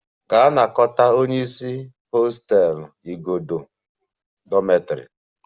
Gaa na-anakọta hostel igodo si dormitory isi!